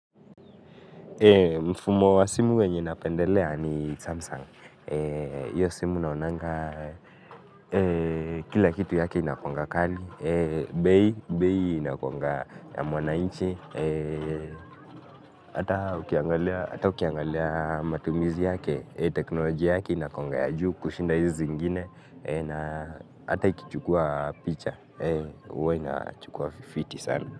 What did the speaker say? Mfumo wa simu wenye napendelea ni Samsung hiyo simu naonanga kila kitu yake inakuanga kali. Bei inakuanga ya mwananchi. Hata ukiangalia matumizi yake, teknolojia yake inakuanga ya juu kushinda hizi zingine. Ata ikichukua picha. Huwa inachukua fity sana.